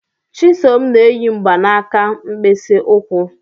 Chisom n'eyi mgbanaka mkpịsị ụkwụ.